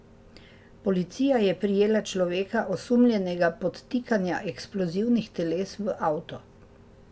Policija je prijela človeka, osumljenega podtikanja eksplozivnih teles v avto.